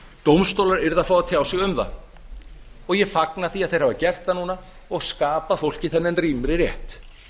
dómstólar yrðu að fá að tjá sig um það ég fagna því að þeir hafa gert það núna og skapað fólki þennan rýmri rétt